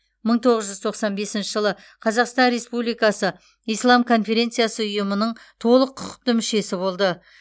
мың тоғыз жүз тоқсан бесінші жылы қазақстан республикасы ислам конференциясы ұйымының толық құқықты мүшесі болды